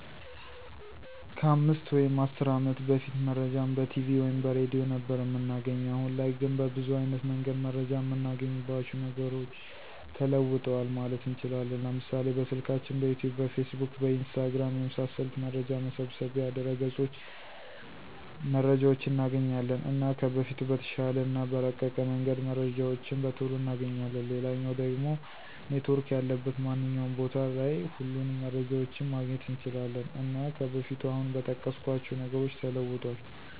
ከ 5 ወይም 10 አመት በፊት መረጃን በቲቪ ወይም በሬድዮ ነበር እምናገኘዉ። አሁን ላይ ግን በብዙ አይነት መንገድ መረጃን እምናገኝባቸዉ ነገሮች ተለዉጠዋል ማለት እንችላለን፤ ለምሳሌ፦ በስልካችን፣ በዩቱዩብ፣ በፌስቡክ፣ በኢንስታግራም፣ የመሳሰሉት መረጃ መሰብሰቢያ ድረገፆች መረጃዎችን እናገኛለን። እና ከበፊቱ በተሻለ እና በረቀቀ መንገድ መረጃዎችን በቶሎ እናገኛለን፣ ሌላኛዉ ደሞ ኔትዎርክ ያለበት ማንኛዉም ቦታ ላይ ሁሉንም መረጃዎችን ማግኘት እንችላለን። እና ከበፊቱ አሁን በጠቀስኳቸዉ ነገሮች ተለዉጧል።